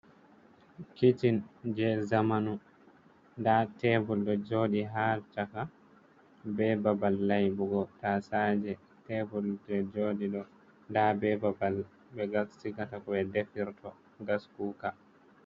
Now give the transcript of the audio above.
Kicin je zamanu, nda tebur ɗo joɗi ha chaka, be babal laybugo tasaje, tebur je joɗi ɗo nda be babal ɓe gas sigorto koɓe defirto gaskuka.